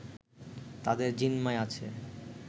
তাদের জিম্মায় আছে